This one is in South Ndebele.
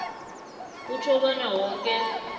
kutjho bona woke